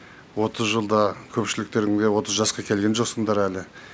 отыз жылда көпшіліктерін де отыз жасқа келген жоқсыңдар әлі